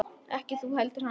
Ekki þú heldur hann.